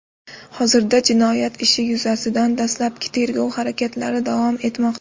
Hozirda jinoyat ishi yuzasidan dastlabki tergov harakatlari davom etmoqda.